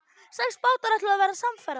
Sex bátar ætluðu að verða samferða.